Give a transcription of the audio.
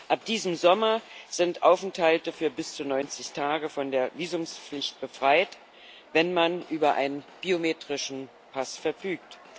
Ab diesem Sommer sind Aufenthalte für bis zu 90 Tage von der Visumpflicht befreit, wenn man über einen biometrischen Pass verfügt.